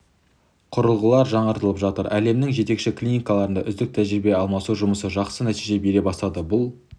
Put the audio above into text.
құрылғылар жаңартылып жатыр әлемнің жетекші клиникаларында үздік тәжірибе алмасу жұмысы жақсы нәтиже бере бастады бұл